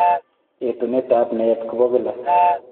Etunetab naet ko bo kila.